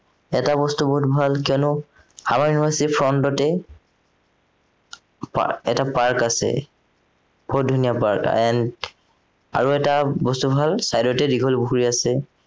এটা বস্তু বহুত ভাল কিয়নো আমাৰ university ৰ front তে এটা park আছে বহুত ধুনীয়া park আৰু এটা বস্তু ভাল side তে দীঘলীপুখুৰী আছে